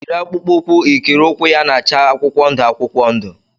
Yiri akpụkpọ ụkwụ ikiri ụkwụ ya na-acha akwụkwọ ndụ akwụkwọ ndụ!